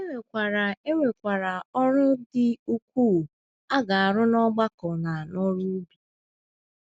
E nwekwara E nwekwara ọrụ dị ukwuu a ga - arụ n’ọgbakọ na n’oru ubi.